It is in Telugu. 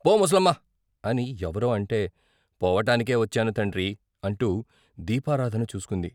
" పో ముసలమ్మా " అని ఎవరో అంటే "పోవటానికే వచ్చాను తండ్రి " అంటూ దీపారాధన చూసుకుంది.